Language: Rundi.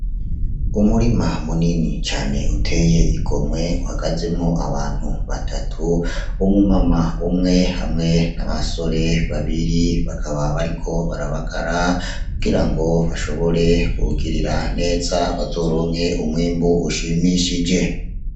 Umurima munini cane uteye igomwe uhagazemwo abantu batatu, umu mama umwe n'abasore babiri, bakaba bariko barabagara kugira ngo bashobore kuwugirira neza, bazoronke umwimbu ushimishije.